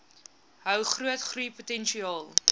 hou groot groeipotensiaal